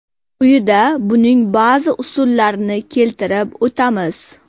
Quyida buning ba’zi usullarini keltirib o‘tamiz.